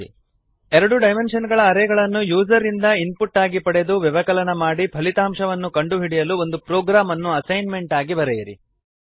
ಎರಡು two dimensional array ಗಳನ್ನು user ಇಂದ ಇನ್ಪುಟ್ ಆಗಿ ಪಡೆದು ವ್ಯವಕಲನ ಮಾಡಿ ಫಲಿತಾಂಶವನ್ನು ಕಂಡುಹಿಡಿಯಲು ಒಂದು ಪ್ರೊಗ್ರಾಮ್ ಅನ್ನು ಅಸೈನ್ಮೆಂಟ್ ಆಗಿ ಬರೆಯಿರಿ